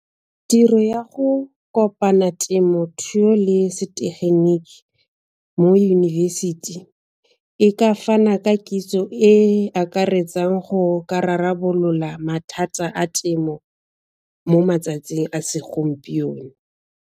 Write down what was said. Tiro ya go kopana temothuo le setegeniki mo yunibesithi e ka fana ka kitso e e akaretsang go ka rarabolola mathata a temo mo matsatsing a segompieno.